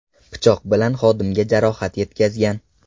pichoq bilan xodimga jarohat yetkazgan.